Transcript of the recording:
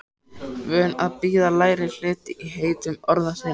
Vön að bíða lægri hlut í heitum orðasennum.